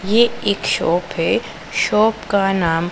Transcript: ये एक शॉप है शॉप का नाम--